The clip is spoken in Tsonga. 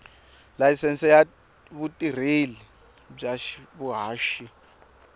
layisense ya vutirheli bya vuhaxi